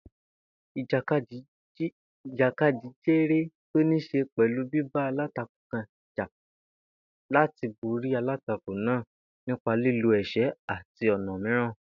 Ìjàkadì jéré tó níí s̩e pè̩lú bíba alátakò kan jà láti borí alátakò náà nípa lílo è̩s̩é̩ àti ò̩nà mìíràn